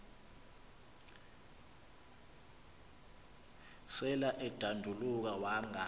sel edanduluka wanga